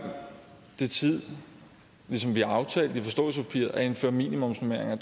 det tid til ligesom vi har aftalt i forståelsespapiret at indføre minimumsnormeringer